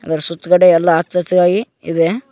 ಅದರ ಸುತ್ತುಗಡೆ ಎಲ್ಲಾ ಹಚ್ಚ ಹಚ್ಚಗಾಗಿ ಇದೆ.